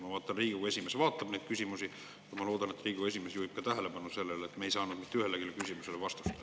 Ma näen, et Riigikogu esimees vaatab neid küsimusi, ja ma loodan, et Riigikogu esimees juhib ka tähelepanu sellele, et me ei saanud mitte ühelegi küsimusele vastust.